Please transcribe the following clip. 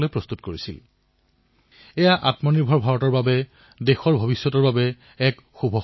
৭ লাখ কোটি টকাৰ ইমান ডাঙৰ ব্যৱসায় কিন্তু ভাৰতত তাতে অংশীদাৰীত্ব অতিশয় কম